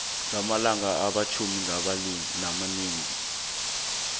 ngamalanga amatjhumi amabili